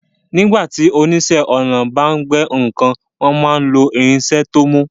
Nígbà tí oníṣẹ́ ọnà bá ń gbẹ́ nǹkan, wọ́n máa ń lo irinṣẹ́ tó mú